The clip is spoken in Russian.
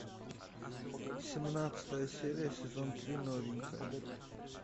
семнадцатая серия сезон три новенькая